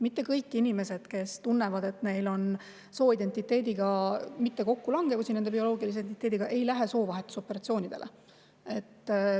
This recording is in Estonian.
Mitte kõik inimesed, kes tunnevad, et nende sooidentiteet ei lange kokku nende bioloogilise identiteediga, ei lähe soovahetusoperatsioonile.